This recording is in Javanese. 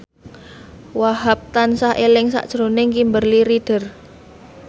Wahhab tansah eling sakjroning Kimberly Ryder